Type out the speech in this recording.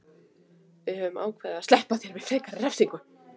Við höfum ákveðið að SLEPPA ÞÉR VIÐ FREKARI REFSINGU.